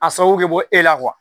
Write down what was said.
A sababu bɛ bɔ e la